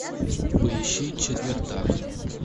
поищи четвертак